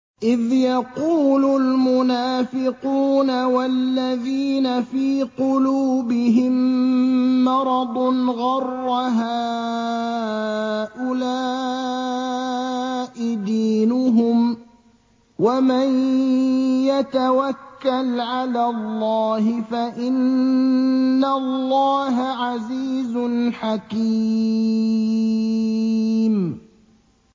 إِذْ يَقُولُ الْمُنَافِقُونَ وَالَّذِينَ فِي قُلُوبِهِم مَّرَضٌ غَرَّ هَٰؤُلَاءِ دِينُهُمْ ۗ وَمَن يَتَوَكَّلْ عَلَى اللَّهِ فَإِنَّ اللَّهَ عَزِيزٌ حَكِيمٌ